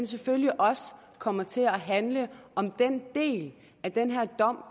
selvfølgelig også kommer til at handle om den del af den her dom